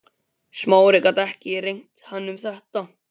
Smári gat ekki rengt hann um þetta.